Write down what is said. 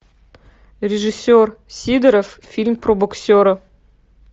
режиссер сидоров фильм про боксера